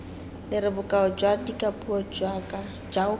lere bokao jwa dikapuo jaoka